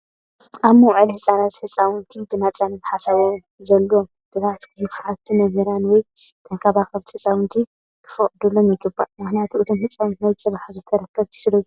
ኣብ መውዓሊ ህፃናት ህፃውንቲ ብነፃነት ሓሳባቶምን ዘለዎም ሕቶታትን ክሓትቱ መምህራን ወይ ተንከባኸብቲ ህፃውንቲ ክፈቅድሎም ይግባእ። ምክንያቱ እቶም ህፃውንቲ ናይ ፅባሕ ሃገር ተረከብቲ ስለዝኾኑ።